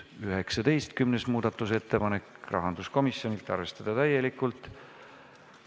19. muudatusettepanek, rahanduskomisjonilt, arvestada täielikult.